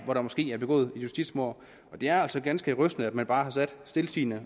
hvor der måske er begået justitsmord det er altså ganske rystende at man bare stiltiende